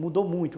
Mudou muito.